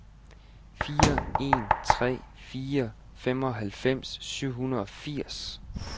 fire en tre fire femoghalvfems syv hundrede og firs